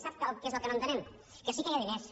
sap què és el que no entenem que sí que hi ha diners